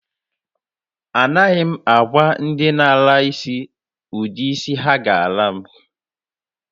A naghi m agwa ndi na-ala isi udi isi ha ga-ala m.